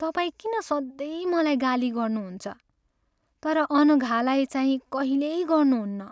तपाईँ किन सधैँ मलाई गाली गर्नुहुन्छ तर अनघालाई चाहिँ कहिल्यै गर्नुहुन्न?